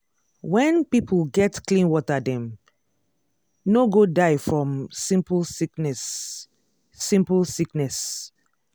when people get clean water dem no go die from simple sickness. simple sickness.